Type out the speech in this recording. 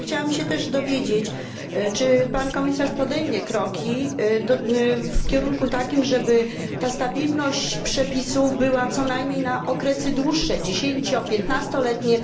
Ja chciałam się też dowiedzieć, czy Pan Komisarz podejmie kroki w takim kierunku, żeby ta stabilność przepisów była co najmniej na okresy dłuższe dziesięcio piętnastoletnie.